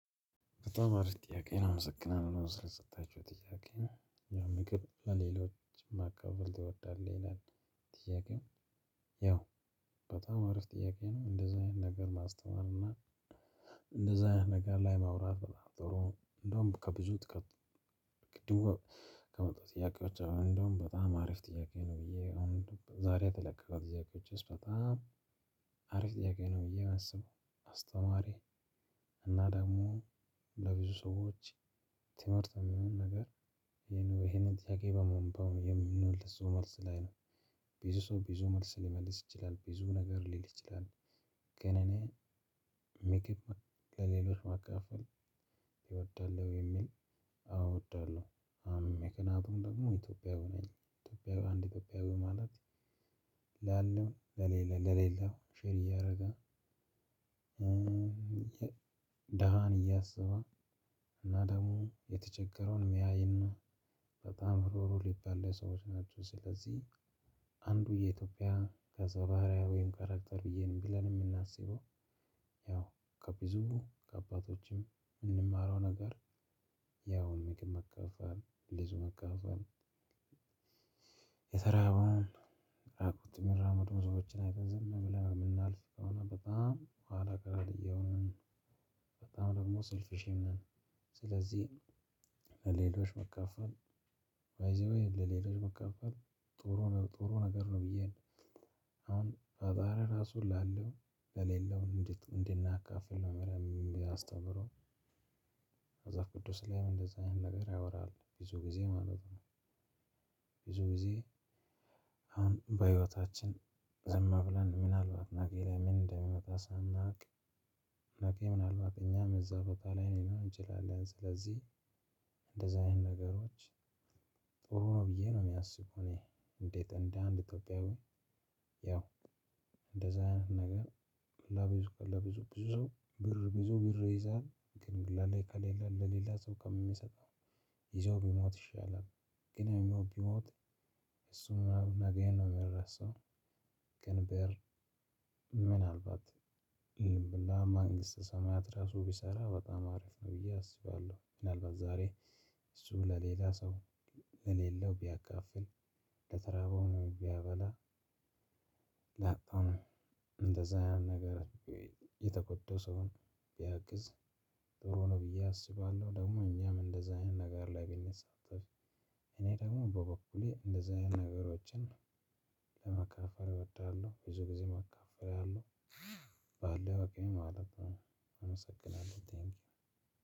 በጣም አሪፍ ጥያቄ ነው። አመሰግናለሁ ስለሰጣቹኝ ጥያቄ የምግብ ሌሎችን ማካፈል ትወዳለህ? ይላል። ጥያቄው። ያው በጣም አሪፍ ጥያቄ ነው እንደዚ አይነት ነገር ማስተማር እና እንደዛ ነገር ላይ ማውራት በጣም ጥሩ ነው። እንደውም ከዚህ ቅድም ከመጣው ጥያቄዎች አሉ። እንደውም በጣም አሪፍ ጥያቄ ነው። ብዬ አሁን ዛሬ የተለቀቀው ጥያቄዎችስ በጣም አሪፍ ጥያቄ ነው። ብዬ የማስበው አስተማሪ እና ደግሞ ለብዙ ሰዎች ትምህርት የሚሆን ነገር። ይህንን ጥያቄ በአግባቡ የምመልሰው መልስ ላይ ነው። ብዙ ሰው ብዙ መልስ ሊመልስ ይችላል ብዙ ነገር ሊል ይችላል። ግን እኔ ምግብ ለሌሎች ማካፈል እወዳለሁ የሚል አወ እወዳለሁ። አም ምክንያቱም ደግሞ ኢትዮጵያዊ ነኝ ኢትዮጵያዊ አንድ ኢትዮጵያዊ ማለት ላለው ለሌላ ለሌለው ሼር እያደረገ ደሃን እያሰበ እና ደግሞ የተቸገረውን እሚያይና በጣም እሩሩህ ሊባል ለሰዎች ናቸው። ስለዚህ አንዱ የኢትዮጵያ ገፀ ባህሪያዊ ወይም ካራክተር ብዬ ብለን እምናስበው። ያው ከብዙ ከአባቶችም እምንማረው ነገር ያው ምግብ መካፈል ልጅ መካፈል። የተራበውን አቅቶት መራመድ ዝም ብለን እምናልፍ ከሆነ በጣም ሆአላ ቀር የሆንን። በጣም ደግሞ ሰልፊሽነት ስለዚህ ለሌሎች ማካፈል ባይ ዘ ዌይ ለሌሎች ማካፈል ጥሩ ነው። ጥሩ ነገር ነው። ብዬ አሁን ፈጣሪ እራሱ ያለው ለሌለው እንድናካፍል ነው። መምህር እሚያስተምረው መፀሀፍ ቅዱስ ላይም እንደዛ አይነት ነገር ያወራል ብዙ ጊዜ ማለት ነው። ብዙ ጊዜ አሁን በህይወታችን ዝም ብለን ምናልባት ነገ ላይ ምን እንደሚመጣ ሳናውቅ። ነገ ምናልባት እኛም እዛ ቦታ ላይ ልንሆን እንችላለን። ስለዚህ እንደዛ አይነት ነገሮች ጥሩ ነው ብዬ ነው እማስብ እኔ። እንዴት እንደ አንድ ኢትዮጵያዊ ያው እንደዛ ነገር ለብዙ ለብዙ ብዙ ሰው ብር ይዞ ብር ይዘሀል ግን ከሌላ ለሌላ ሰው ከምሰጥ ይዤው ብሞት ይሻላል። ግን ያኛው ቢሞት እሱን ምናምን ነገ ነው እሚረሳው። ግን ብር ምናልባት ለመንግስተ ሰማያት ራሱ ቢሰራ በጣም አሪፍ ነው ብዬ አስባለሁ። ምናልባት ዛሬ እሱ ለሌላ ሰው ለሌለው ቢያካፍል ለተራበውን ቢያበላ። ያጣውን እንደዛ አይነት ነገር የተጎዳው ሰውን ቢያግዝ ጥሩ ነው ብዬ አስባለሁ። ደግሞ እኛም እንደዛ አይነት ነገር ላይ ብንመለከት ደግሞ በበኩሌ እንደዚህ አይነት ነገሮችን ለማካፈል እወዳለሁ ብዙ ጊዜ አካፍላለሁ። ባለው አቅሜ ማለት ነው። አመሰግናለሁ ቴንኪው።